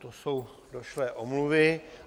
To jsou došlé omluvy.